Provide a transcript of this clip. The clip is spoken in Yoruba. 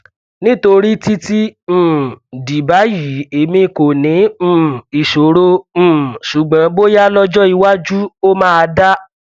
nítorí títí um di báyìí èmi kò ní um ìṣòro um ṣùgbọn bóyá lọjọ iwájú ó máa dá